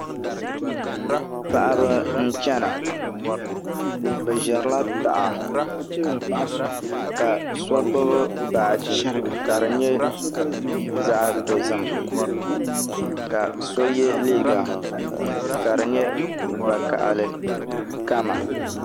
Paɣaba n chɛna bi ʒirila taha ka so gbubi baaji ka di nyɛ zaɣ dozim ka so yɛ liiga ka di nyɛ vakaɣali kama